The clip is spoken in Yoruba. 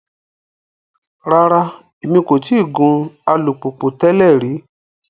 Rara, Emi ko ti gun alupupu tẹlẹ ri